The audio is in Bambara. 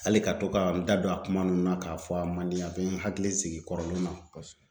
Hali ka to ka n da don a kuma nunnu na ka fɔ a man di n ye. A be n hakili jigin kɔrɔlenw na kosɛbɛ.